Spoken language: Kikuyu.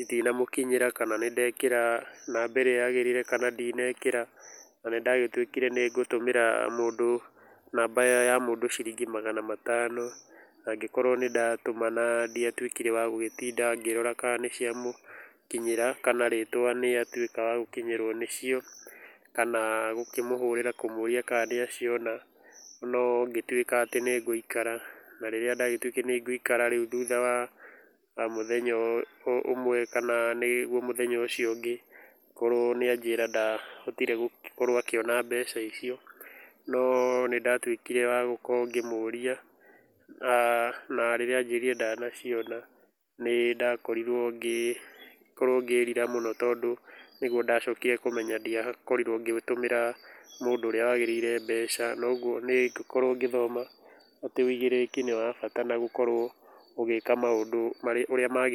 itinamũkinyĩra kana nĩndekĩra namba ĩrĩa yagĩrĩire kana ndĩnekĩra na nĩndagĩtuĩkĩre nĩngũtũmĩra namba ya mũndũ ũcio ciringi magana matano, nangĩkorwo nĩndatũma na ndĩatuĩkire wagũtinda ngĩrora kana nĩciamũkinyĩra kana rĩtwa nĩrĩatuĩka rĩagũkinyĩrwa nĩcio kana gũkimũhũrĩra kũmũríia kana nĩaciona no ngĩtuĩka atĩ nĩngũikara na rĩrĩa ndatuĩkire nĩngũikara rĩũ thutha wa mũthenya ũmwe kana nĩguo mũthenya ũcio ũngĩ, korwa nĩajĩrire ndahotire gũkorwo akĩona mbeca icio no nĩndatuĩkire ngĩkorwo ngĩmwonia[uhh],na rĩrĩa anjĩrire ndanaciona nĩndakorirwo ngĩrira mũno tondũ nĩguo ndacokire kũmenya ndĩakorire ngĩgĩtũmĩra mũndũ ũria wagĩrĩire mbeca noguo niĩ ngĩkorwo ngĩthoma atĩ ũigĩrĩrĩki nĩwabata wa gũĩka maũndũ marĩa wagĩrĩire.